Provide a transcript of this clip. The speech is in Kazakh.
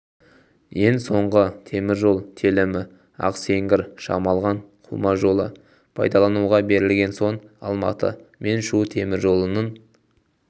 ең соңғы темір жол телімі ақсеңгір-шамалған қума жолы пайдалануға берілген соң алматы мен шу темір жолының